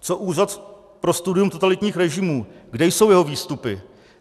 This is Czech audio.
Co Úřad pro studium totalitních režimů, kde jsou jeho výstupy?